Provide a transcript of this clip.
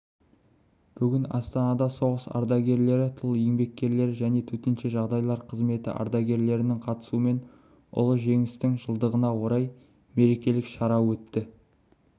бүгін астанада соғыс ардагерлері тыл еңбеккерлері және төтенше жағдайлар қызметі ардагерлерінің қатысуымен ұлы жеңістің жылдығына орай мерекелік шара өтті